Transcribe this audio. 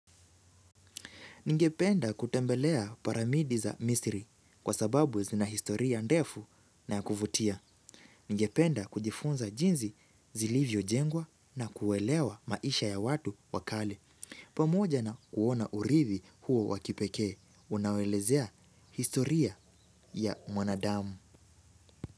Ningependa kutembelea piramidi za misiri kwa sababu zina historia ndefu na ya kuvutia. Ningependa kujifunza jinsi zilivyojengwa na kuelewa maisha ya watu wa kale. Pamoja na kuona urithi huo wa kipekee. Unaoelezea historia ya mwanadamu.